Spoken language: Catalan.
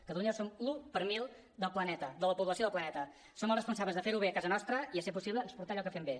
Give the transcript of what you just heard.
catalunya som l’un per mil del planeta de la població del planeta som els responsables de fer ho bé a casa nostra i si és possible d’exportar allò que fem bé